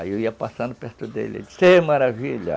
Aí eu ia passando perto dele, ele dizia, você é Maravilha?